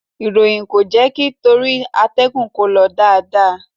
Ìròyìn kò jákè torí àtẹ̀gùn kò lọ dáadáa.